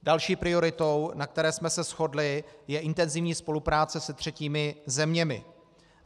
Další prioritou, na které jsme se shodli, je intenzivní spolupráce s třetími zeměmi.